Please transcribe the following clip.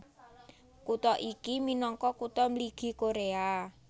Kutha iki minangka Kutha Mligi Koréa